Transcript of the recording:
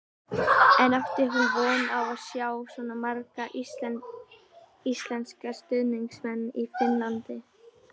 En átti hún von á að sjá svona marga íslenska stuðningsmenn í Finnlandi?